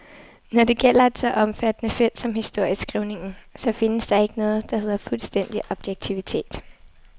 Når det gælder et så omfattende felt som historieskrivningen, så findes der ikke noget, der hedder fuldstændig objektivitet.